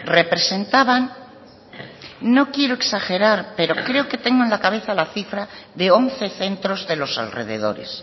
representaban no quiero exagerar pero creo que tengo en la cabeza la cifra de once centros de los alrededores